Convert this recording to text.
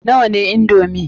Nawa ne indomi?